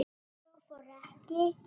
Svo fór ekki.